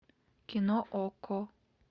кино окко